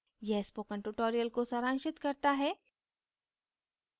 यह spoken tutorial को सारांशित करता है